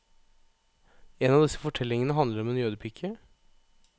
En av disse fortellingene handler om en jødepike.